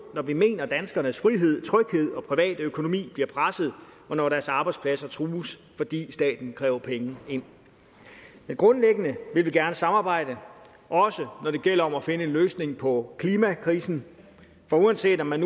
når vi mener at danskernes frihed tryghed og private økonomi bliver presset og når deres arbejdspladser trues fordi staten kræver penge ind men grundlæggende vil vi gerne samarbejde også når det gælder om at finde en løsning på klimakrisen for uanset om man